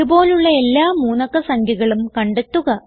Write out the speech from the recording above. ഇത് പോലുള്ള എല്ലാ 3 അക്ക സംഖ്യകളും കണ്ടെത്തുക